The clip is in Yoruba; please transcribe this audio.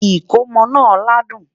ikòmó nà ládùn